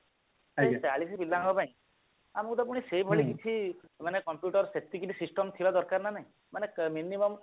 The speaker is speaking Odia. ଚାଳିଶି ପିଲାଙ୍କ ପାଇଁ ଆମକୁ ଗୋଟେ ପୁଣି ସେଇଭଳି କିଛି ମାନେ computer ସେତିକିଟି system ଥିବା ଦରକାର ନା ନାଇଁ ମାନେ minimum